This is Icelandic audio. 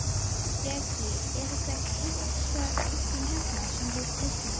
Breki: Er þetta kisan þín hérna, sem þú teiknaðir?